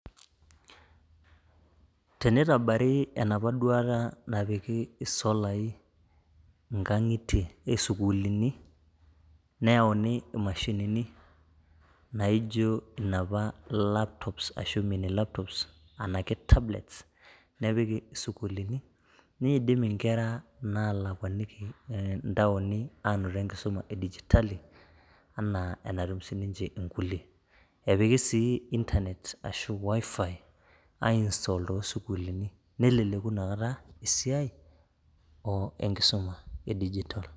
Teneitabari enapa duata napiki solaii inkang'itie, esukulini neyauni emashinini naijo napa laptops ashu emee ninye laptops anaake tablets nepiki sukulini neidim inkera naalakuaniki ntaoni anoto enkisuma e digitali anaa enatum si ninche inkule, epiki sii internet ashu WIFI aiinstol too sukulini neleleku inakata esiaai enkisuma e digitol.